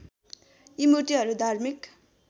यी मूर्तिहरू धार्मिक